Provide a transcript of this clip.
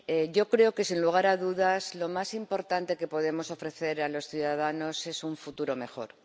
Yo creo que, sin lugar a dudas, lo más importante que podemos ofrecer a los ciudadanos es un futuro mejor.